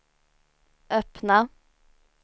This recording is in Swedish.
öppna